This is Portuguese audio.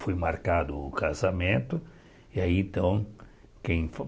Foi marcado o casamento. E aí então quem